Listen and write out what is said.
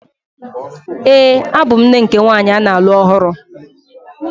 Ee, abụ m nne nke nwanyị a na-alụ ọhụrụ.